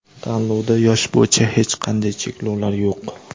Tanlovda yosh bo‘yicha hech qanday cheklovlar yo‘q.